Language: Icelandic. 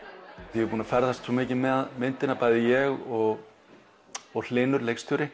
við erum búnir að ferðast svo mikið með myndina bæði ég og og Hlynur leikstjóri